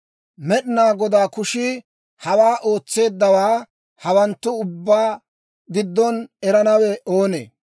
Med'inaa Godaa kushii hawaa ootseeddawaa hawanttu ubbaa giddon erennawe oonee?